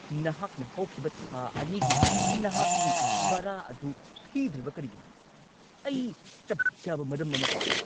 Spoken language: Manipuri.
ꯅꯍꯥꯛꯅ ꯍꯧꯈꯤꯕ ꯊꯥ ꯲ꯒꯤ ꯅꯍꯥꯛꯀꯤ ꯚꯔꯥ ꯑꯗꯨ ꯊꯤꯗ꯭ꯔꯤꯕ ꯀꯔꯤꯒꯤꯅꯣ? ꯑꯩ ꯆꯞꯆꯥꯕ ꯃꯔꯝ ꯑꯃ ꯄꯥꯝꯃꯤ꯫